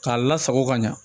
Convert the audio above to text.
K'a lasago ka ɲa